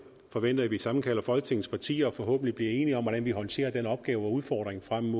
forventer at vi sammenkalder folketingets partier og forhåbentlig bliver enige om hvordan vi håndterer den opgave og udfordring frem